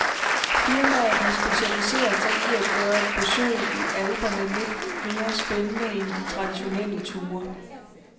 Firmaet har specialiseret sig i at gøre et besøg i alperne lidt mere spændende end de traditionelle ture.